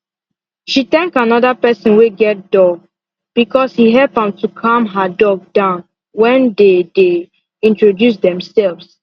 she thank another person wey get dog because he help to calm her dog down when they dey introduce themselves